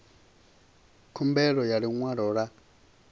khumbelo ya ḽi ṅwalo ḽa